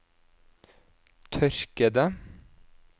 tørkede